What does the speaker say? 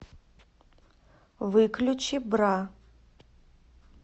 выключи бра